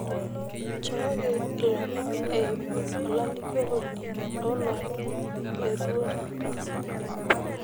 nchooki ilomon eyimu olalikioroni loolomon le duo taata